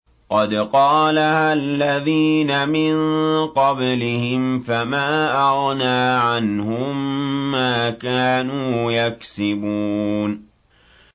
قَدْ قَالَهَا الَّذِينَ مِن قَبْلِهِمْ فَمَا أَغْنَىٰ عَنْهُم مَّا كَانُوا يَكْسِبُونَ